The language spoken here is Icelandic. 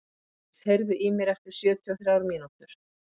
Þórdís, heyrðu í mér eftir sjötíu og þrjár mínútur.